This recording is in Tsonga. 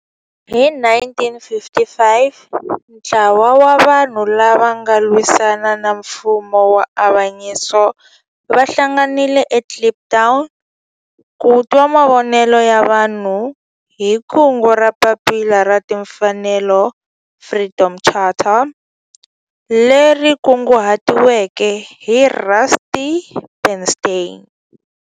Hi 1955 ntlawa wa vanhu lava ava lwisana na nfumo wa avanyiso va hlanganile eKliptown ku twa mavonelo ya vanhu hi kungu ra Papila ra Tinfanelo, Freedom Charter, leri kunguhatiweke hi Rusty Bernstein.